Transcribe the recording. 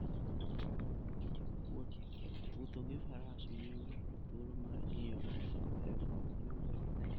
Wuotho gi Faras miyo ng'ato thuolo mar ng'iyo gik mabeyo miwuoro.